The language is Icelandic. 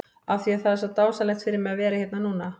Af því að það er svo dásamlegt fyrir mig að vera hérna núna?